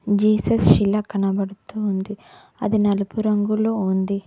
Jesus శిలా కనబడుతూ ఉంది అది నలుపు రంగులో ఉంది